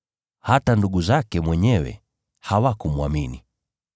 Hata ndugu zake mwenyewe hawakumwamini.